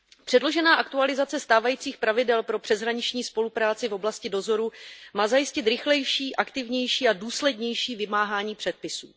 Předložená aktualizace stávajících pravidel pro přeshraniční spolupráci v oblasti dozoru má zajistit rychlejší, aktivnější a důslednější vymáhání předpisů.